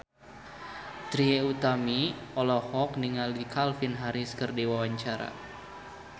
Trie Utami olohok ningali Calvin Harris keur diwawancara